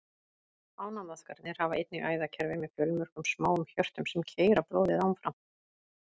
Ánamaðkarnir hafa einnig æðakerfi með fjölmörgum smáum hjörtum, sem keyra blóðið áfram.